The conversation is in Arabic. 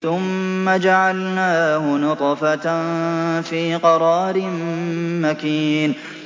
ثُمَّ جَعَلْنَاهُ نُطْفَةً فِي قَرَارٍ مَّكِينٍ